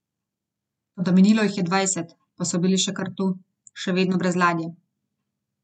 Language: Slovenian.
Toda minilo jih je dvajset, pa so bili še kar tu, še vedno brez ladje.